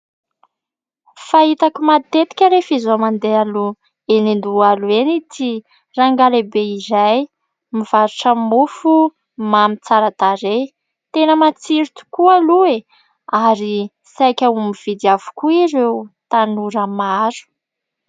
Fahitako matetika rehefa izaho mandeha aloha eny Andohalo eny ity rangahy lehibe iray mivarotra mofomamy tsara tarehy, tena matsiro tokoa aloha e, ary saika ho mividy avokoa ireo tanora maro.